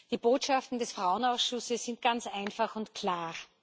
Die Botschaften des Frauenausschusses sind ganz einfach und klar.